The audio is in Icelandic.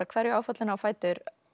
hverju áfallinu á fætur